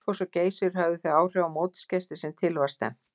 Gullfoss og Geysir höfðu þau áhrif á mótsgesti sem til var stefnt.